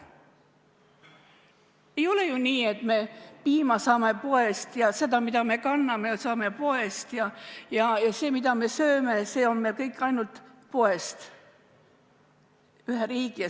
Ei ole ju nii, et me piima saame poest ja seda, mida me kanname, saame poest, ja see, mida me sööme, tuleb kõik ainult poest.